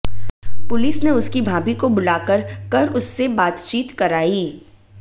police ने उसकी भाभी को बुलाकर कर उससे बातचीत कराई